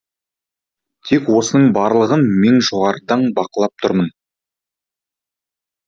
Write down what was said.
тек осының барлығын мен жоғарыдан бақылап тұрмын